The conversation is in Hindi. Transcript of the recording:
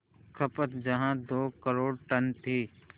खपत जहां दो करोड़ टन थी